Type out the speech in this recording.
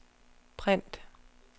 print